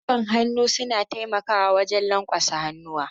Gwiwan hannu suna taimakawa wajen lanƙwasa hannuwa.